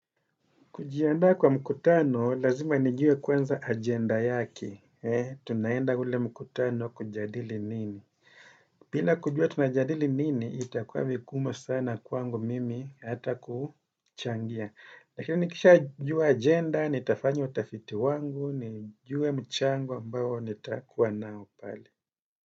Kujiandaa kwa mkutano, lazima nijue kwanza agenda yake. Tunaenda ule mkutano kujadili nini. Bina kujua tunajadili nini, itakuwa vigumu sana kwangu mimi hata kuchangia. Lakini nikishajua agenda, nitafanya utafiti wangu, nijue mchango ambao nitakuwa nao pale.